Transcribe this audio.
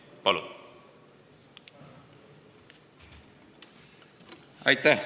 Palun!